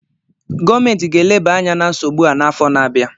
Gọọmentị ga-eleba anya na nsogbu a n'afọ na-abịa